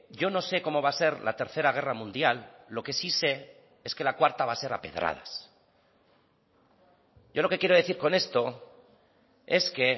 yo no se cómo va a ser la tercera guerra mundial lo que sí se es que la cuarta va a ser a pedradas yo lo que quiero decir con esto es que